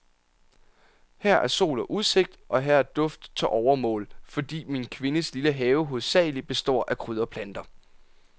Her er sol og udsigt, og her er duft til overmål, fordi min kvindes lille have hovedsagelig består af krydderplanter.